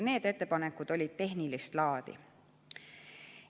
Need ettepanekud olid tehnilist laadi.